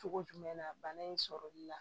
Cogo jumɛn na bana in sɔrɔli la